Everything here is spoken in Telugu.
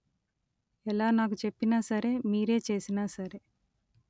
ఎలా నాకు చెప్పినా సరే మీరే చేసినా సరే